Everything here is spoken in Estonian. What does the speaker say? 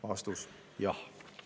" Vastus: jah.